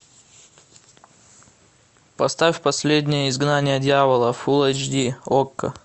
поставь последнее изгнание дьявола фул эйч ди окко